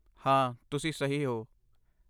ਹਾਂ, ਤੁਸੀ ਸਹੀ ਹੋ।